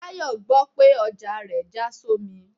Tayo gbò pe ọja rẹ ja sọmí